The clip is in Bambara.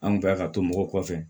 An kun bɛ ka to mɔgɔw kɔfɛ